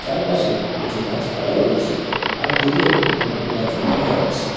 চারপাশে প্রচুর গাছপালা রয়েছে আর দূরে একটি নারকেল গাছও দেখা যাচ্ছে।